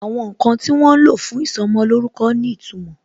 Àwọn ǹkan tí wọ́n lo fún ìsọmolórúkọ ní ìtumò